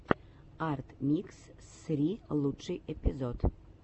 арт микс ссри лучший эпизод